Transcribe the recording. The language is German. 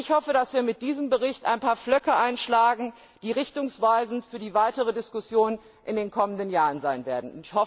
Ich hoffe, dass wir mit diesem Bericht ein paar Pflöcke einschlagen, die richtungweisend für die weitere Diskussion in den kommenden Jahren sein werden.